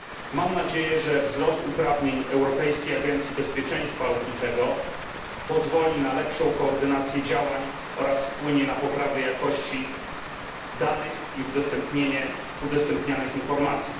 Mam nadzieję, że wzrost uprawnień Europejskiej Agencji Bezpieczeństwa Lotniczego pozwoli na lepszą koordynację działań oraz wpłynie na poprawę jakości danych i udostępnianych informacji.